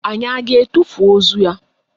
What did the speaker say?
Anyị a ga-etufu ozu ya?